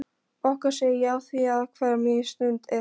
Okkar segi ég afþvíað hver mín stund er þín.